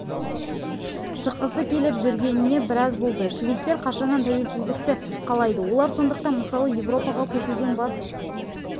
шыққысы келіп жүргеніне біраз болды шведтер қашаннан тәуелсіздікті қалайды олар сондықтан мысалы еуроға көшуден бас